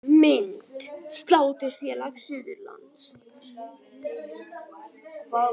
Mynd: Sláturfélag Suðurlands